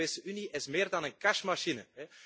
De Europese Unie is meer dan een cash machine.